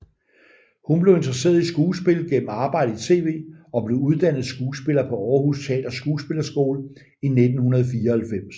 Hun blev interesseret i skuespil gennem arbejde i tv og blev uddannet skuespiller på Århus Teaters Skuespillerskole i 1994